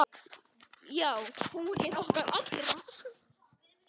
Já, hún er okkar allra.